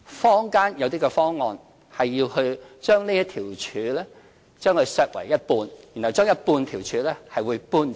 坊間有些方案，是要把這條柱削為一半，把半條柱搬走。